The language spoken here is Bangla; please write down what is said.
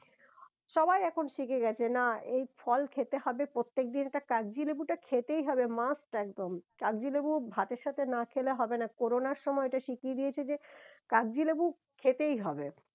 সবাই এখন শিখে গেছে না এই ফল খেতে হবে প্রত্যেক দিনএকটা কাকজী লেবুটা খেতেই হবে must একদম কাকজী লেবু ভাতের সাথে না খেলে হবে না করোনার সময় এটা শিখিয়ে দিয়েছে যে কাকজী লেবু খেতেই হবে